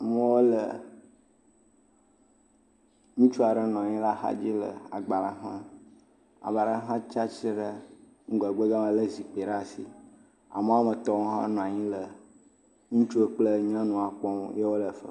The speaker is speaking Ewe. Mɔ le, ŋutsu aɖe nɔ anyi le agbalẽ xlẽm. Ame ɖe hã tsia tsitre ɖe ŋgɔgbe gama le zikpui ɖe asi. Amewoa me etɔ wonɔ anyi le nua kpɔm. Yawo le afima......